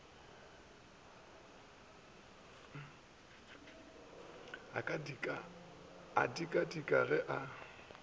a dika dika ge a